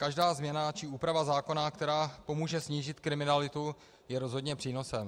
Každá změna či úprava zákona, která pomůže snížit kriminalitu, je rozhodně přínosem.